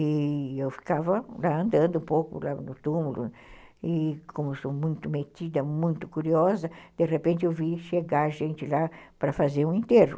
E eu ficava lá andando um pouco lá no túmulo, e como sou muito metida, muito curiosa, de repente eu vi chegar gente lá para fazer um enterro.